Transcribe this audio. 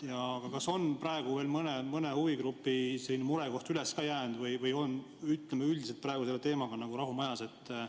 Aga kas on praegu veel mõne huvigrupi mure üles jäänud või on üldiselt praegu selle teemaga nagu rahu majas?